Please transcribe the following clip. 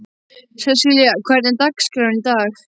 Sesselía, hvernig er dagskráin í dag?